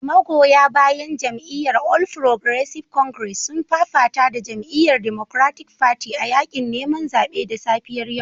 Magoya bayan jam'iyyar All Progressive Congress sun fafata da jama'iyyar Democratic Party a yakin neman zaben da safiyar yau